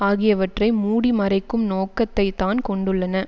ஆகியவற்றை மூடிமறைக்கும் நோக்கத்தை தான் கொண்டுள்ளன